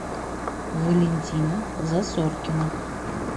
валентина засоркина